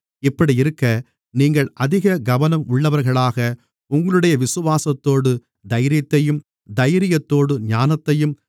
இப்படியிருக்க நீங்கள் அதிக கவனம் உள்ளவர்களாக உங்களுடைய விசுவாசத்தோடு தைரியத்தையும் தைரியத்தோடு ஞானத்தையும்